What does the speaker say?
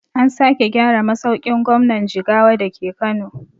An sake gyara masaukin gwamnan jigawa dake kano